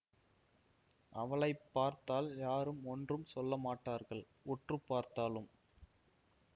அவளை பார்த்தால் யாரும் ஒன்றும் சொல்ல மாட்டார்கள் உற்று பார்த்தாலும்